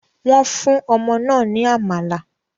Wọ́n fún ọmọ náà ní amala.